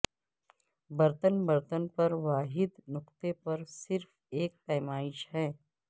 برتن برتن پر واحد نقطہ پر صرف ایک پیمائش ہے